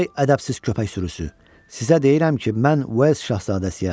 Ay ədəbsiz köpək sürüsü, sizə deyirəm ki, mən Uels şahzadəsiyəm.